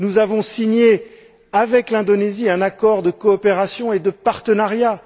Nous avons conclu avec l'Indonésie un accord de coopération et de partenariat.